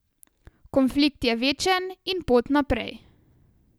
Konflikt je večen in pot naprej.